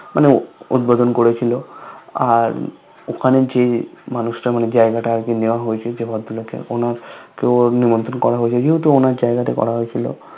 মানে উদ্ভোদন করেছিল আর ওখানে যে মানুষটা মানে যে জায়গা টা আরকি নেয়া হয়েছিল যে ভদ্রলোকের অনেকেও নেমন্তন্ন করা হয়েছে যেহেতু ওনার জায়গা তে করা হয়েছে